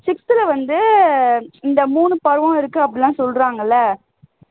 sixth ல வந்து இந்த மூணு பருவம் இருக்கு அப்படி எல்லாம் சொல்லுவாங்க இல்ல